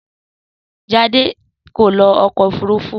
Sadé kò lo ọkọ òfurufú